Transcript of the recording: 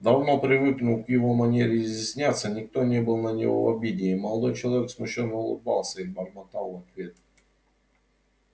давно привыкнув к его манере изъясняться никто не был на него в обиде и молодой человек смущённо улыбался и бормотал в ответ